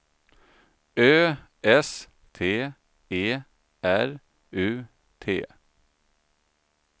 Ö S T E R U T